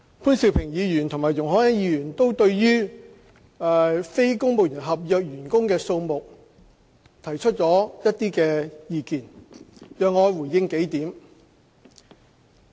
潘兆平議員和容海恩議員都對於非公務員合約員工的數目提出了一些意見，讓我回應幾點。